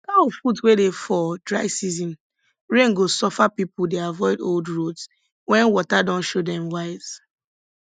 cow foot wey dey for dry season rain go suffer people dey avoid old roads when water don show dem wise